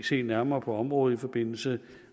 se nærmere på området også i forbindelse